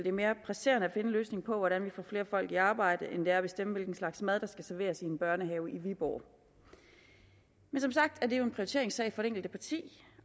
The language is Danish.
er mere presserende at finde en løsning på hvordan vi får flere folk i arbejde end det er at bestemme hvilken slags mad der skal serveres i en børnehave i viborg men som sagt er det jo en prioriteringssag for det enkelte parti